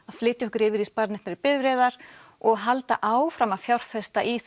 að flytja okkur yfir í bifreiðar og halda áfram að fjárfesta í